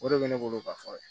O de bɛ ne bolo ka fɔ